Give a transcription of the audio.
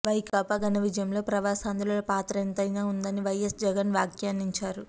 వైకాపా ఘన విజయంలో ప్రవాసాంధ్రుల పాత్ర ఎంతైనా ఉందని వైఎస్ జగన్ వ్యాఖ్యానించారు